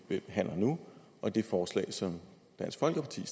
vi behandler nu og det forslag som dansk folkeparti